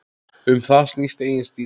Um það snýst eigin stíll.